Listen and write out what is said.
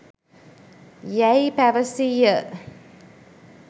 යැයි පැවසීය.